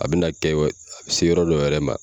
A bɛ na kɛ a bɛ se yɔrɔ dɔ yɛrɛ ma.